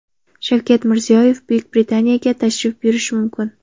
Shavkat Mirziyoyev Buyuk Britaniyaga tashrif buyurishi mumkin.